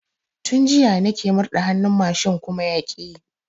Tun jiya nike murɗa hannun mashin kuma yaƙi yi